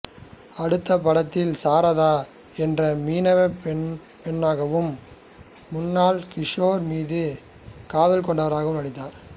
அடுத்த படத்தில் சாரதா என்ற மீனவப் பெண்ணாகவும் முன்னா கிஷோர் மீது காதல் கொண்டவராகவும் நடித்தார்